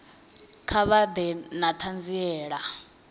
kha vha ḓe na ṱhanziela